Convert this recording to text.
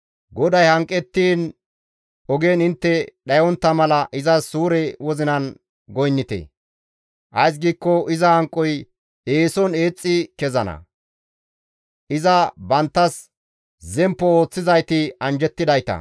GODAY hanqettiin ogen intte dhayontta mala izas suure wozinan goynnite; ays giikko iza hanqoy eeson eexxi kezana. Iza banttas zemppo ooththizayti anjjettidayta.